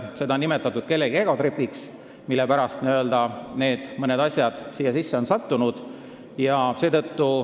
Seda, miks mõned asjad sinna sisse on pandud, on nimetatud kellegi egotripiks.